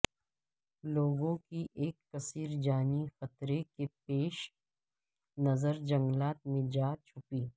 لوگوں کی ایک کثیر جانی خطرے کے پیش نظر جنگلات میں جا چھپی